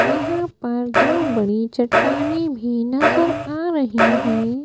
यहां पर दो बड़ी चट्टाने भी नजर आ रही हैं।